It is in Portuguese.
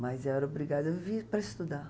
Mas eu era obrigada a vir para estudar.